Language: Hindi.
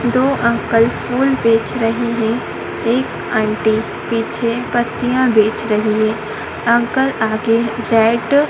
दो अंकल फूल बेच रहे हैं एक आंटी पीछे पत्तियां बेच रही है अंकल आगे रेड --